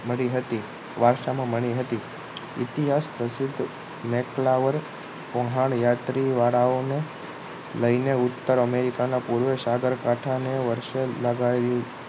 મળી હતી વારસામા મળી હતી ઈતિહાસ પ્રસિધ્ધ મેથલાવર વહાણયાત્રી વાળાઓને લઈ ને ઉત્તર અમેરિકા ના પૂર્વે સાગરકાંઠા ને વર્ષે લગાવી